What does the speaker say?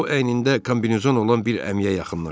O əynində kombinezon olan bir əmiyə yaxınlaşdı.